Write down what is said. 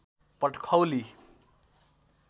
Patkhauli